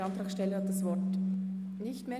Der Antragsteller wünscht das Wort nicht mehr.